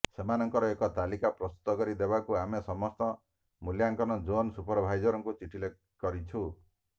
ସେମାନଙ୍କର ଏକ ତାଲିକା ପ୍ରସ୍ତୁତ କରି ଦେବାକୁ ଆମେ ସମସ୍ତ ମୂଲ୍ୟାଙ୍କନ ଜୋନ୍ ସୁପରଭାଇଜର୍ମାନଙ୍କୁ ଚିଠି କରିଛୁ